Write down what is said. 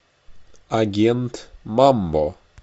агент мамбо